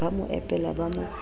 ba mo epela ba mo